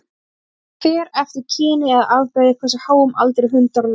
Það fer eftir kyni eða afbrigði hversu háum aldri hundar ná.